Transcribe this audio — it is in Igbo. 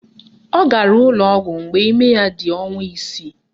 Ọ gara n'ụlọọgwụ mgbe ime ya dị ọnwa isii